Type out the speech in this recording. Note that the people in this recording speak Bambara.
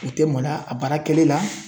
U tɛ maloya a baarakɛli la.